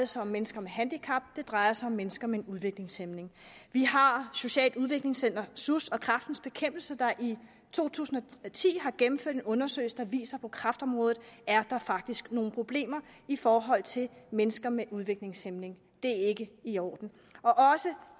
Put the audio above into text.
sig om mennesker med handicap det drejer sig om mennesker med en udviklingshæmning vi har socialt udviklingscenter sus og kræftens bekæmpelse der i to tusind og ti har gennemført en undersøgelse der viser at på kræftområdet er der faktisk nogle problemer i forhold til mennesker med udviklingshæmning det er ikke i orden også